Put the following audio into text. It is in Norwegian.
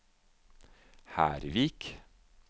Hervik